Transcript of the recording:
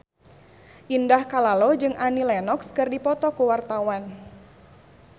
Indah Kalalo jeung Annie Lenox keur dipoto ku wartawan